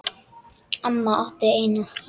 Amma átti eina.